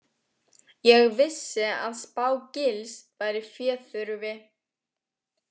Ég vissi að Spá- Gils væri féþurfi.